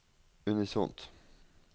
unisont